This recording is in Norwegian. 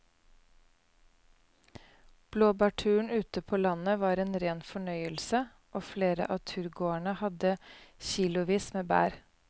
Blåbærturen ute på landet var en rein fornøyelse og flere av turgåerene hadde kilosvis med bær.